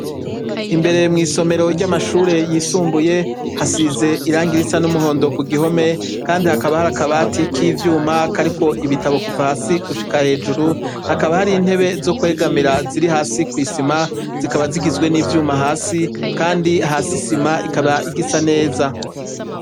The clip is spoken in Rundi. Imbere mu kigo c'amashure yisumbuye hari ikibuga c'umupira w'amaguru hasi hakaba hari umusenyi hamwe n'amabuye, kandi hakabashinze igiti kirko ibendera ry'igihugu c'uburundi hakabahateye ibiti birebire imbere mu kigo, kandi hakaba hari nemashurwe ahateye hasi imbere y'inyubaka.